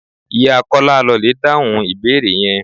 Ìyá Kọ́lá lọ lè dáhùn ìbéèrè yẹn.